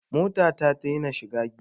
Mota ta ta dena shiga giya